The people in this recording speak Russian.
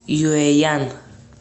юэян